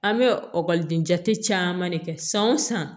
An bɛ jate caman de kɛ san o san